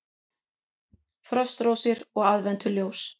Frostrósir og aðventuljós